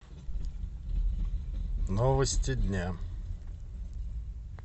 новости дня